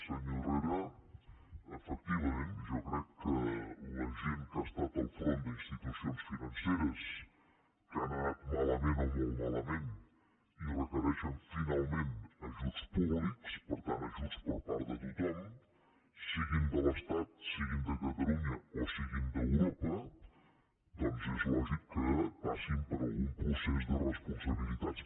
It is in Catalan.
senyor herrera efecti·vament jo crec que la gent que ha estat al capdavant d’institucions financeres que han anat malament o molt malament i requereixen finalment ajuts públics per tant ajuts per part de tothom siguin de l’estat siguin de catalunya o siguin d’europa doncs és lògic que passin per algun procés de responsabilitats